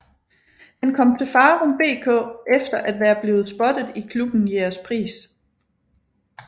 Han kom til Farum BK efter at være blevet spottet i klubben Jægerspris